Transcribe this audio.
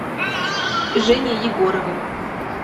женей егоровым